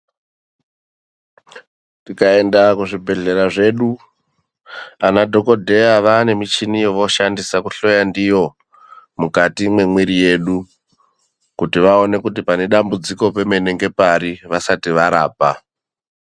Tikaenda kuzvibhehlera zvedu anadhogodheya vaanemichini yovooshandisa kuhloya ndiyo mukati mwemwiiri yedu kuti vaone kuti panedambudziko pemene ngepari vasati varapa.